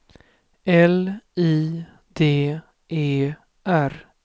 L I D E R